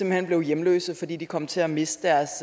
hen blev hjemløse fordi de kom til at miste deres